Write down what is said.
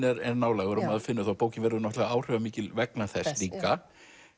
er nálægur og maður finnur það og bókin verður náttúrulega áhrifamikil vegna þess líka